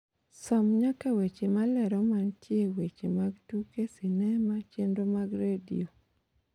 som nyaka weche malero mantie weche mag tuke sinema chenro mag redio weche tuke sinema chenro mag redio